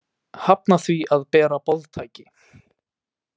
Hafna því að bera boðtæki